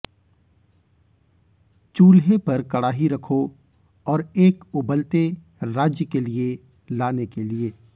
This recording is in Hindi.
चूल्हे पर कड़ाही रखो और एक उबलते राज्य के लिए लाने के लिए